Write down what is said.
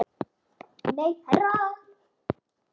Nei, herra